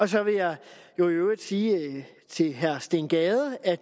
så vil jeg jo i øvrigt sige til herre steen gade at